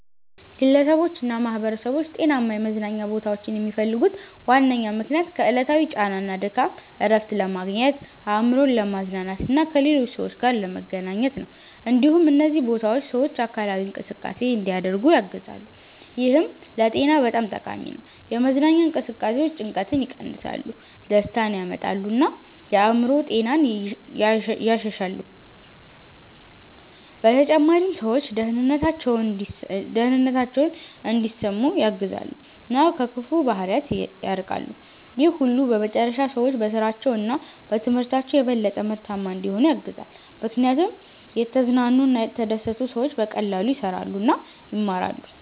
ግለሰቦችና ማኅበረሰቦች ጤናማ የመዝናኛ ቦታዎችን የሚፈልጉት ዋነኛ ምክንያት ከዕለታዊ ጫና እና ድካም እረፍት ለማግኘት፣ አእምሮን ለማዝናናት እና ከሌሎች ሰዎች ጋር ለመገናኘት ነው። እንዲሁም እነዚህ ቦታዎች ሰዎች አካላዊ እንቅስቃሴ እንዲያደርጉ ያግዛሉ፣ ይህም ለጤና በጣም ጠቃሚ ነው። የመዝናኛ እንቅስቃሴዎች ጭንቀትን ይቀንሳሉ፣ ደስታን ያመጣሉ እና የአእምሮ ጤናን ያሻሽላሉ። በተጨማሪም ሰዎች ደህንነታቸውን እንዲሰሙ ያግዛሉ እና ከክፉ ባህሪያት ይርቃሉ። ይህ ሁሉ በመጨረሻ ሰዎች በስራቸው እና በትምህርታቸው የበለጠ ምርታማ እንዲሆኑ ያግዛል፣ ምክንያቱም የተዝናኑ እና የተደሰቱ ሰዎች በቀላሉ ይሰራሉ እና ይማራሉ።